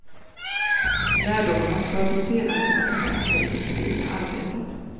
Lärdomarna ska de sedan kunna ta med sig i det civila arbetet.